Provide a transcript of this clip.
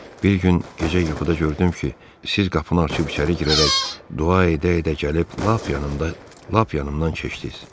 Bir gün gecə yuxuda gördüm ki, siz qapını açıb içəri girərək, dua edə-edə gəlib lap yanımda, lap yanımdan keçdiz.